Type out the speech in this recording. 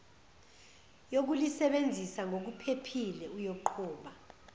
yokulisebenzisa ngokuphephile uyoqhuba